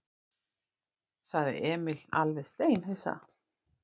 sagði Emil alveg steinhissa.